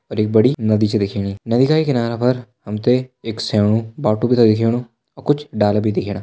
और एक बड़ी नदी भी छ दिखेणी और नदी का ही किनारा पर हम तें एक सेणू बाटु भी छ दिखेणु और कुछ ड़ाला भी दिखेणा।